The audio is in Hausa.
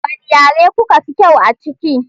Wane yare kuka fi kyau a ciki?